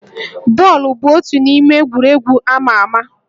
Bọọlụ bụ otu n'ime egwuregwu amà amà